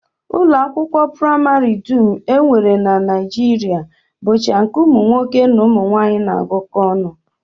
Ụlọakwụkwọ praịmarị dum e nwere na Naijiria bụcha nke ụmụnwaanyị na ụmụnwoke na-agụkọ ọnụ